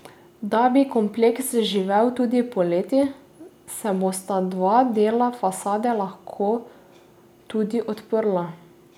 Da bi kompleks živel tudi poleti, se bosta dva dela fasade lahko tudi odprla.